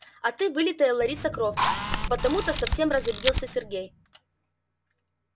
а ты вылитая лариса крофт потому то совсем разобиделся сергей